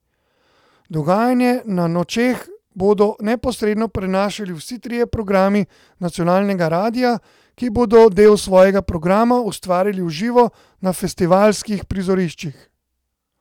Dogajanje na Nočeh bodo neposredno prenašali vsi trije programi nacionalnega radia, ki bodo del svojega programa ustvarjali v živo na festivalskih prizoriščih.